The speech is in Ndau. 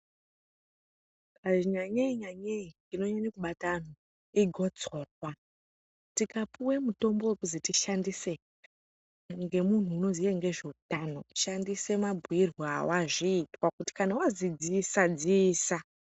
Nyanyei nyanyei inonyanya kubata antu igotsorwa tikapuwe mutombo wekuzi tishandise ngemuntu unoziye ngezvehutano shandisa mabhuirwe ewazviitwa, kuti kana wazwi dziisa, dziisa.